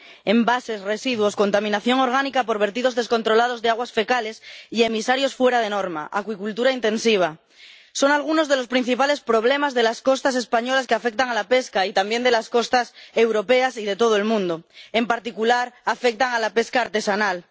Envases, residuos, contaminación orgánica por vertidos descontrolados de aguas fecales y emisarios fuera de norma, acuicultura intensiva son algunos de los principales problemas de las costas españolas que afectan a la pesca y también de las costas europeas y de todo el mundo. En particular, afectan a la pesca artesanal.